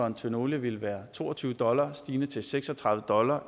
en tønde olie ville være to og tyve dollars stigende til seks og tredive dollars